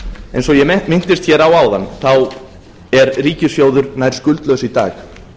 eins og ég minntist hér á áðan er ríkissjóður nær skuldlaus í dag